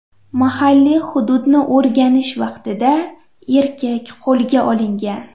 Mahalliy hududni o‘rganish vaqtida erkak qo‘lga olingan.